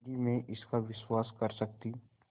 यदि मैं इसका विश्वास कर सकती